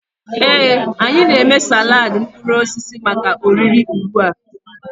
Ee, anyị na-eme salad mkpụrụ osisi maka oriri ugbu a.